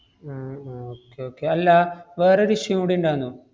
ഉം ഉം okay okay അല്ലാ വേറൊരു issue കൂടി ഇണ്ടാന്നു.